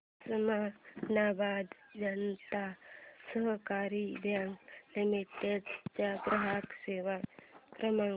उस्मानाबाद जनता सहकारी bank limited चा ग्राहक सेवा क्रमांक